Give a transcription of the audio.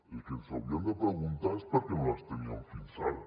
el que ens hauríem de preguntar és per què no les teníem fins ara